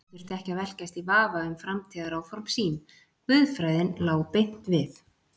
Hann þurfti ekki að velkjast í vafa um framtíðaráform sín, guðfræðin lá beint við.